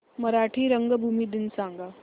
मराठी रंगभूमी दिन सांगा